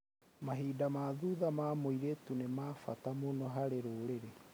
Mahinda ma thutha ma mũirĩtu nĩ ma bata mũno harĩ rũrĩrĩ.